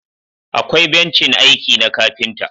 akwai bencin aiki na kafinta